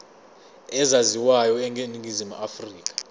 ezaziwayo eningizimu afrika